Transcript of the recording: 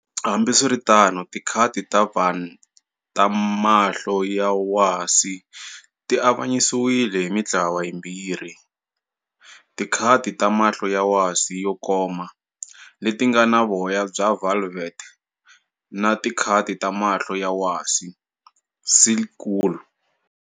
Hambiswiritano, tikati ta Van ta mahlo ya wasi ti avanyisiwile hi mintlawa yimbirhi-"tikati ta mahlo ya wasi-yo koma, letingana voya bya velvet" na"tikati ta mahlo ya wasi, silk wool".